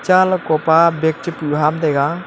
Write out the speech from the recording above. cha lakopa bag che puh ham taiga.